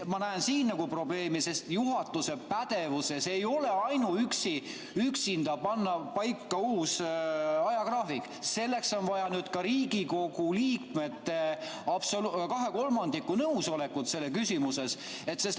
Ma näen siin probleemi, sest juhatuse pädevuses ei ole üksinda panna paika uus ajagraafik, selleks on vaja ka Riigikogu liikmete 2/3 nõusolekut selles küsimuses.